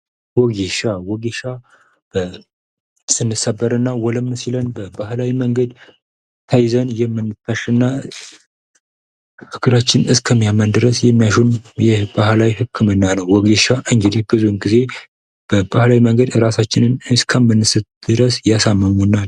ወጌሻ፤ ወጌሻ ስንሰበርና ወለም ሲለን በባህላዊ መንገድ ተይዘን የምንታሽናል እግራችን እስኪያምን ድረስ የሚያሹን የባህላዊ ህክምና ነው። ወጌሻ እንግዲህ ብዙ ጊዜ በባህላዊ መንገድ እራሳችንን አስከምንስት ድረስ የሳሙናል።